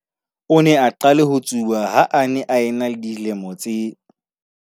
O ne a qale ho tsuba ha a ne a ena le dilemo tse